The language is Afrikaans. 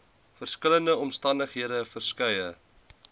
verskillende omstandighede verskeie